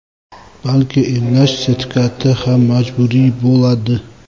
balki emlash sertifikati ham majburiy bo‘ladi.